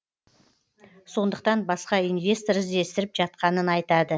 сондықтан басқа инвестор іздестіріп жатқанын айтады